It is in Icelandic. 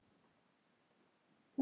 Ekki neitt má neinn!